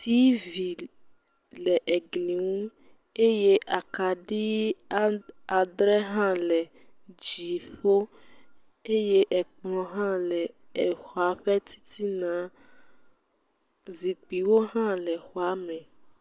TV le egli nu eye akaɖi adre hã le dziƒo eye ekplɔ hã le exɔa ƒe titina, zikpuiwo hã le exɔ me.